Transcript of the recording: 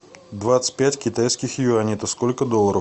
двадцать пять китайских юаней это сколько долларов